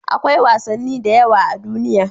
Akwai wasanni da yawa a duniya.